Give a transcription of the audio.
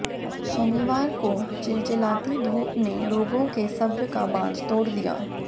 शनिवार को चिलचिलाती धूप ने लोगों के सब्र का बांध तोड़ दिया